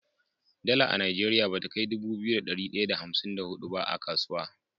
Dala a nigeria bata kai Dubu biyu da dari daya da hamsin da hudu ba a kasuwa